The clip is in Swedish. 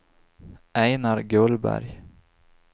Einar Gullberg